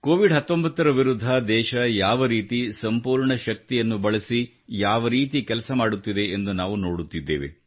Covid 19 ರ ವಿರುದ್ಧ ದೇಶ ಯಾವ ರೀತಿ ಸಂಪೂರ್ಣ ಶಕ್ತಿಯನ್ನು ಬಳಸಿ ಯಾವ ರೀತಿ ಕೆಲಸ ಮಾಡುತ್ತಿದೆ ಎಂದು ನಾವು ನೋಡುತ್ತಿದ್ದೇವೆ